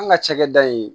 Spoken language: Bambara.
An ka cakɛda in